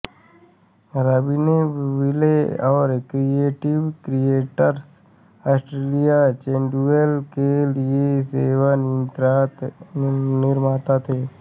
Robbinsville और creative creators Austria schedule के लिए सेवा निर्माता थे